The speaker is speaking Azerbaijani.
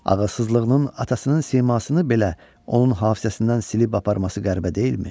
Ağılsızlığının atasının simasını belə onun hafizəsindən silib aparması qəribə deyilmi?